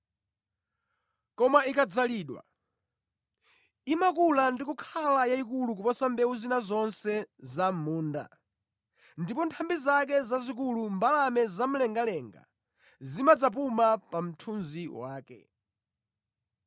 Koma ikadzalidwa, imakula ndi kukhala yayikulu koposa mbewu zina zonse za mʼmunda ndipo mʼnthambi zake zazikulu mbalame zamlengalenga zimadzapuma pa mthunzi wake.”